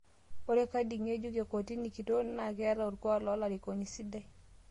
Ore Khadi ng'ejuk le kotini kitok naa keeta olkuak lolarikoni sidai